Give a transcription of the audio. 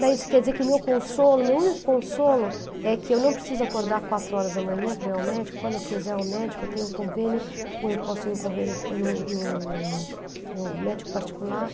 Daí isso quer dizer que o meu consolo, o meu único consolo é que eu não preciso acordar quatro horas da manhã para ir ao médico, quando eu quiser ir ao médico eu tenho convênio, ou eu posso ir em convênio no no no médico particular?